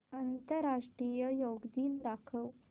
आंतरराष्ट्रीय योग दिन दाखव